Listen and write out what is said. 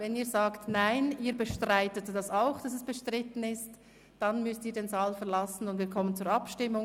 Wenn Sie sagen, «Nein, wir bestreiten, dass dies bestritten ist», dann müssen Sie den Saal verlassen, und wir kommen zur Abstimmung.